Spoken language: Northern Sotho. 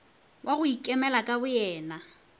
wa go ikemela ka boyena